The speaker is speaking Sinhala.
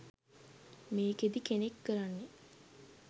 මේකෙදි කෙනෙක් කරන්නෙ